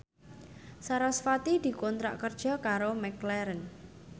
sarasvati dikontrak kerja karo McLaren